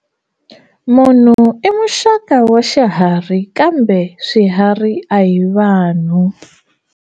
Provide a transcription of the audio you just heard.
Munhu i muxaka wa xiharhi kambe swiharhi a hi vanhu.